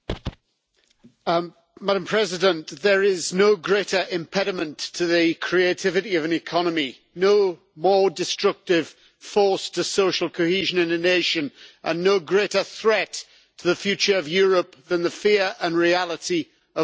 Madam President, there is no greater impediment to the creativity of an economy, no more destructive force to social cohesion in a nation, and no greater threat to the future of Europe than the fear and reality of unemployment.